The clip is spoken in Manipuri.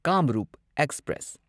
ꯀꯥꯝꯔꯨꯞ ꯑꯦꯛꯁꯄ꯭ꯔꯦꯁ